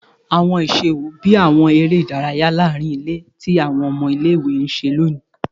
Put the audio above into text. Awọn iṣẹ wo, bii awọn ere idaraya laarin ile ti awọn ọmọ ile-iwe n ṣe loni?